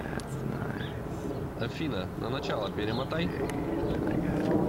афина на начало перемотай